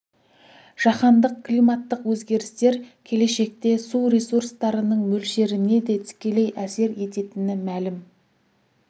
жаһандық климаттық өзгерістер келешекте су ресурстарының мөлшеріне де тікелей әсер ететіні мәлім